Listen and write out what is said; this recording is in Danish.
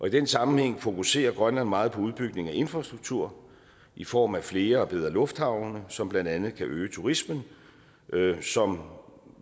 i den sammenhæng fokuserer grønland meget på udbygning af infrastruktur i form af flere og bedre lufthavne som blandt andet kan øge turismen som